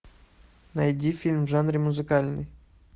найди фильм в жанре музыкальный